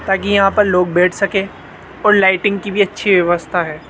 ताकि यहां पर लोग बैठ सके और लाइटिंग की भी अच्छी व्यवस्था है।